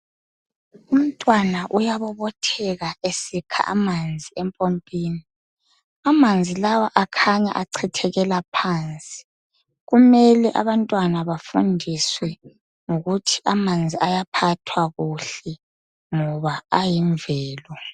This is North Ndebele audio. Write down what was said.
Umntwana uyabobotheka esikha amanzi empompini, amanzi lawa akhanya echithekela phansi. Kumele abantwana bafundiswe ngokuthi amanzi ayaphathwa kuhle ngoba ayimvelo.